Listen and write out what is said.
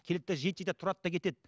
келеді де жейді жейді де тұрады да кетеді